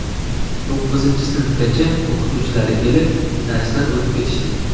To‘qqizinchi sinfgacha o‘qituvchilari kelib, darslar o‘tib ketishdi.